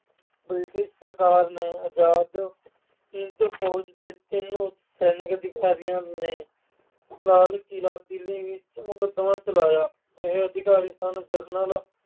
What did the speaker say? British ਸਰਕਾਰ ਦੇ ਆਜਾਦ ਹਿੰਦ ਫੌਜ ਦੇ ਤਿੰਨ ਸੈਨਿਕ ਅਧਿਕਾਰੀਆਂ ਨੇ ਲਾਲ ਕਿਲ੍ਹਾ ਦਿੱਲੀ ਵਿੱਚ ਮੁਕਦਮਾ ਚਲਾਇਆ। ਇਹ ਅਧਿਕਾਰੀ ਸਨ- ਜਨਰਲ